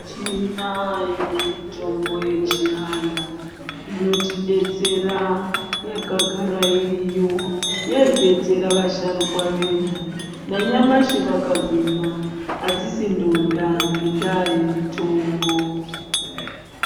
Tinayo mitombo yechiantu inotidetsera, yakagara iriyo. Yaidetsera vasharukwa vedu, nanyamashi vakagwinya. Hadzisi ndonda ngendaa yemitombo.